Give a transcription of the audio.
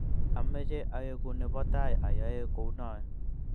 amoche aeku ne bo tai ayay kounoe.